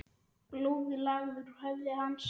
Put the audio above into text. Blóðið lagaði úr höfði hans.